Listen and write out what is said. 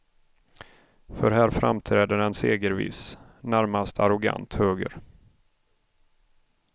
För här framträder en segerviss, närmast arrogant höger.